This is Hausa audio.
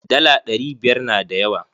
Dala ɗari biyar na da yawa.